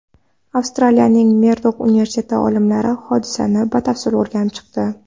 Avstraliyaning Merdok universiteti olimlari hodisani batafsil o‘rganib chiqdi.